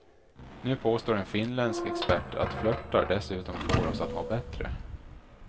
Nu påstår en finländsk expert att flörtar dessutom får oss att må bättre.